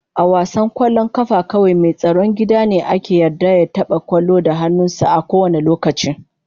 A wasan kwallon kafa kawai mai tsaron gida ne ake yarda ya taba kwallon da hannunsa a kowane lokaci.